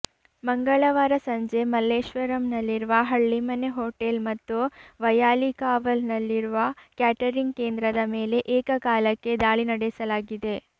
ಮಂಗಳವಾರ ಸಂಜೆ ಮಲ್ಲೇಶ್ವರಂನಲ್ಲಿರುವ ಹಳ್ಳಿಮನೆ ಹೋಟೆಲ್ ಮತ್ತು ವೈಯಾಲಿಕಾವಲ್ ನಲ್ಲಿರುವ ಕ್ಯಾಟರಿಂಗ್ ಕೇಂದ್ರದ ಮೇಲೆ ಏಕಕಾಲಕ್ಕೆ ದಾಳಿ ನಡೆಸಲಾಗಿದೆ